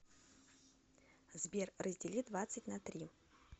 сбер раздели двадцать на три